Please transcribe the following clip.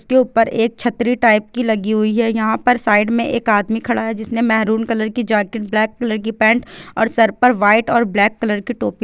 उसके ऊपर एक छत्री टाइप की लगी है यहाँ पर साइड में एक आदमी खड़ा है जिसने महरून कलर की जैकेट ब्लैक कलर की पेन्ट और सर पर वाइट और ब्लैक कलर की टोपी--